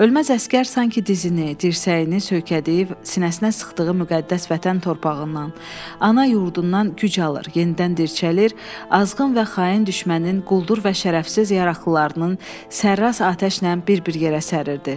Ölməz əsgər sanki dizini, dirsəyini söykədiyi sinəsinə sıxdığı müqəddəs Vətən torpağından, ana yurdundan güc alır, yenidən dirçəlir, azğın və xain düşmənin quldur və şərəfsiz yaraqlılarının sərrast atəşnən bir-bir yerə səririrdi.